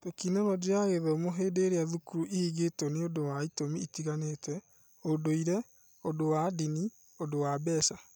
Tekinoronjĩ ya Gĩthomo hĩndĩ ĩrĩa thukuru ihingĩtwo nĩ ũndũ wa itumi itiganĩte (ũndũire, ũndũ wa ndini, ũndu wambeca)